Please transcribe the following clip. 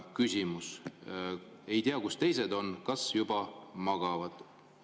Küsimus: ei tea, kus teised on, kas juba magavad?